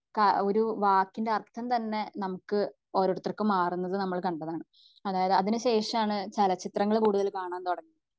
ഏഹ്ഹ് അഹ് ഒരു വാക്കിന്റെ അർഥം തന്നെ നമുക്ക് ഓരോരുത്തർക്കും മാറുന്നത് നമ്മൾ കണ്ടതാണ് അതായത് അതിന് ശേഷമാണ് ചലച്ചിത്രങ്ങൾ കൂടുതൽ കാണാൻ